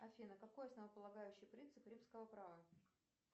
афина какой основополагающий принцип римского права